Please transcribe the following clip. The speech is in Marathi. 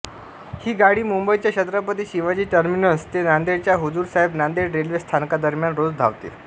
ही गाडी मुंबईच्या छत्रपती शिवाजी टर्मिनस ते नांदेडच्या हुजुर साहेब नांदेड रेल्वे स्थानकादरम्यान रोज धावते